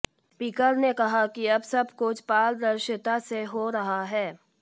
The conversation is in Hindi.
स्पीकर ने कहा कि अब सब कुछ पारदर्शिता से हो रहा है